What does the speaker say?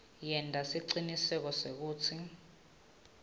yenta siciniseko sekutsi